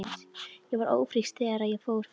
Ég var ófrísk þegar ég fór frá þér.